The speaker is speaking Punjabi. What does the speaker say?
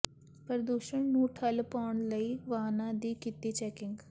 ਪ੍ਰਦੂਸ਼ਣ ਨੂੰ ਠੱਲ੍ਹ ਪਾਉਣ ਲਈ ਵਾਹਨਾਂ ਦੀ ਕੀਤੀ ਚੈਕਿੰਗ